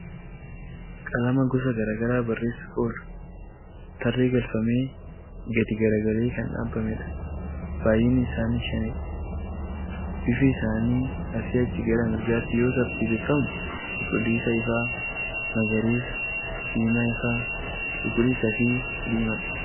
Qalama gosa garaa garaa barreessuuf oolu, tarree galfamee gadi gara galee kan dhaabamedha. Baay'inni isaaniii shanidha. Bifi isaanii asii achi gara mirgaatti yoo tartiibeffamu cuquliisa ifaa, magariisa, diimaa ifaa, cuquliisa fi diimaadha.